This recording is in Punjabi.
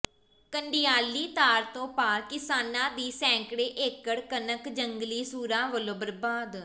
ਕੰਡਿਆਲੀ ਤਾਰ ਤੋਂ ਪਾਰ ਕਿਸਾਨਾਂ ਦੀ ਸੈਂਕੜੇ ਏਕੜ ਕਣਕ ਜੰਗਲੀ ਸੂਰਾਂ ਵੱਲੋਂ ਬਰਬਾਦ